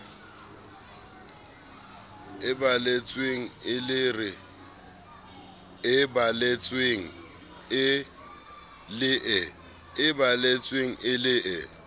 e balletsweng e le e